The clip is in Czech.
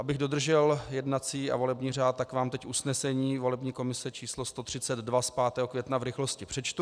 Abych dodržel jednací a volební řád, tak vám teď usnesení volební komise číslo 132 z 5. května v rychlosti přečtu: